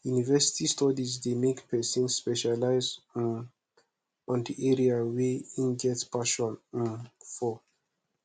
university studies de make persin specialize um on the area wey e get passion um for